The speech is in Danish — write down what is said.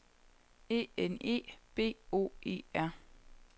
E N E B O E R